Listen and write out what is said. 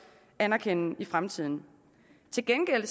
anerkende i fremtiden til gengæld